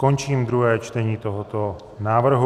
Končím druhé čtení tohoto návrhu.